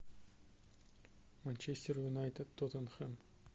манчестер юнайтед тоттенхэм